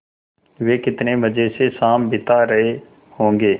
वे कितने मज़े से शाम बिता रहे होंगे